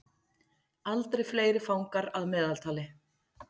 Aldrei fleiri fangar að meðaltali